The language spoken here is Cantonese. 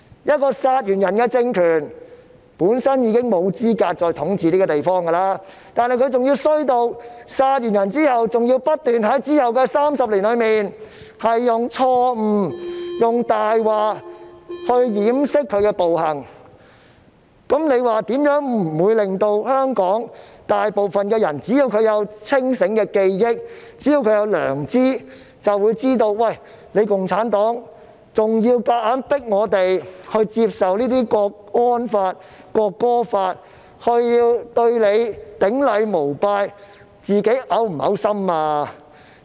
一個殺人政權本身已經沒有資格再統治這個地方，但它竟惡劣到在殺人後，還要在之後的30年間不斷以錯誤和謊言來掩飾其暴行，試問這怎會不使大部分香港人——只要他們有清醒的記憶和良知——都認為共產黨現時還想強迫我們接受港區國安法和《國歌法》，從而對它頂禮膜拜，它會否感到嘔心呢？